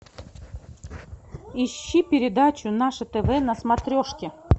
ищи передачу наше тв на смотрежке